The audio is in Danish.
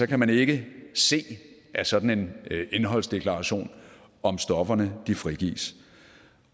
kan man ikke se af sådan en indholdsdeklaration om stofferne frigives